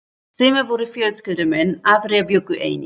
Sumir voru fjölskyldumenn, aðrir bjuggu einir.